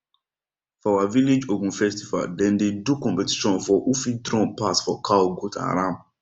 for our village ogun festival dem dey do competition for who fit drum pass for cow goat and ram